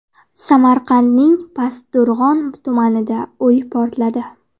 Samarqandning Pastdarg‘om tumanida uy portladi.